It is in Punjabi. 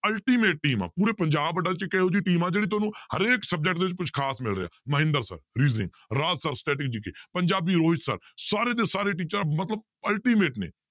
Ultimate team ਆ ਪੂਰੇ ਪੰਜਾਬ ਇੱਕ ਇਹੋ ਜਿਹੀ team ਆ ਜਿਹੜੀ ਤੁਹਾਨੂੰ ਹਰੇਕ subject ਦੇ ਵਿੱਚ ਕੁਛ ਖ਼ਾਸ ਮਿਲ ਰਿਹਾ Mahinder sir reasoning Raj sir GK Punjabi Rohit sir ਸਾਰੇ ਦੇ ਸਾਰੇ teacher ਮਤਲਬ ultimate ਨੇ